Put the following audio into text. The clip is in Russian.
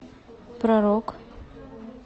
про рок